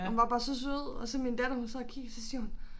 Og hun var bare så sød og så min datter hun sad og kiggede så siger hun